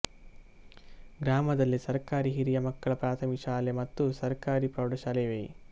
ಗ್ರಾಮದಲ್ಲಿ ಸರಕಾರಿ ಹಿರಿಯ ಮಕ್ಕಳ ಪ್ರಾಥಮಿಕ ಶಾಲೆ ಮತ್ತು ಸರಕಾರಿ ಪ್ರೌಢ ಶಾಲೆ ಇವೆ